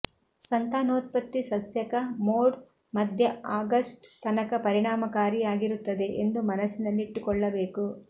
ಸಂತಾನೋತ್ಪತ್ತಿ ಸಸ್ಯಕ ಮೋಡ್ ಮಧ್ಯ ಆಗಸ್ಟ್ ತನಕ ಪರಿಣಾಮಕಾರಿಯಾಗಿರುತ್ತದೆ ಎಂದು ಮನಸ್ಸಿನಲ್ಲಿಟ್ಟುಕೊಳ್ಳಬೇಕು